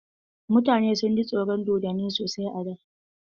Mutane sun ji tsoron dodonni sasai a da.